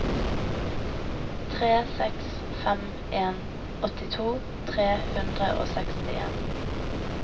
tre seks fem en åttito tre hundre og sekstien